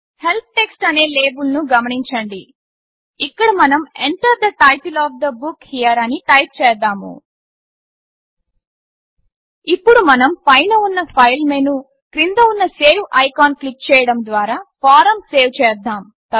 help text అనే label గమనించండి ఇక్కడ మనం Enter the title of the book here అని టైప్ చేద్దాము ఇప్పుడు మనం పైన ఉన్న ఫైల్ మెను క్రింద ఉన్న సేవ్ ఐకాన్ క్లిక్ చేయడం ద్వారా ఫారమ్ సేవ్ చేద్దాము